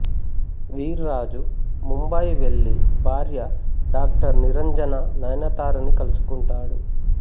వీర్రాజు ముంబాయి వెళ్లి భార్య డాక్టర్ నిరంజన నయనతార ని కలుసుకుంటాడు